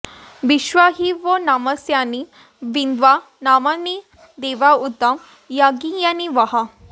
विश्वा॒ हि वो॑ नम॒स्या॑नि॒ वन्द्या॒ नामा॑नि देवा उ॒त य॒ज्ञिया॑नि वः